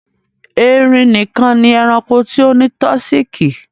Ẹrìn níkan ni ẹ̀ràṇkò tí ó ni tọsíkí.